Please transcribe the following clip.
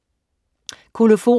Kolofon